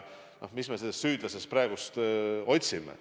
Mis me ikka seda süüdlast praegu otsime.